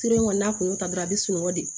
Sira in kɔni n'a kun y'o ta dɔrɔn a bɛ sunɔgɔ de